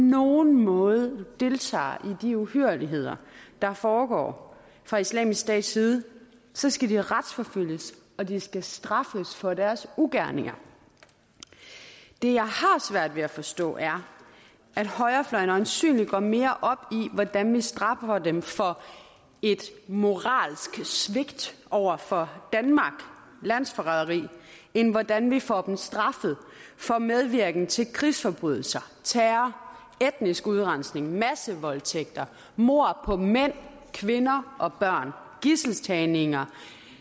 nogen måde deltager i de uhyrligheder der foregår fra islamisk stats side så skal de retsforfølges og de skal straffes for deres ugerninger det jeg har svært ved at forstå er at højrefløjen øjensynlig går mere op i hvordan vi straffer dem for et moralsk svigt over for danmark landsforræderi end hvordan vi får dem straffet for medvirken til krigsforbrydelser terror etnisk udrensning massevoldtægter mord på mænd kvinder og børn gidseltagninger